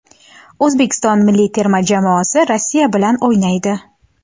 O‘zbekiston milliy terma jamoasi Rossiya bilan o‘ynaydi.